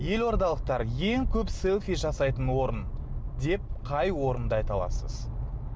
елордалықтар ең көп селфи жасайтын орын деп қай орынды айта аласыз